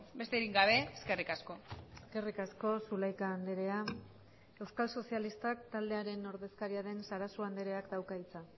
besterik gabe eskerrik asko eskerrik asko zulaika andrea euskal sozialistak taldearen ordezkaria den sarasua andreak dauka hitza